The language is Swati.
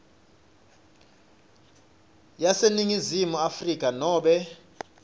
yaseningizimu afrika nobe